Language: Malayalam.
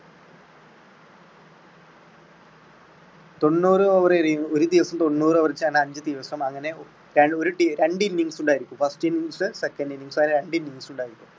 തൊണ്ണൂറ് over എറിയുന്ന ഒരു ദിവസം തൊണ്ണൂറ് over വച്ചാൽ അഞ്ചുദിവസം അങ്ങനെ രണ്ട് innings ഉണ്ടായിരിക്കും. first innings, second innings അങ്ങനെ രണ്ട് innings ഉണ്ടായിരിക്കും.